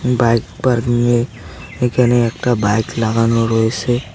Bike parking -এ এখানে একটা বাইক লাগানো রয়েসে।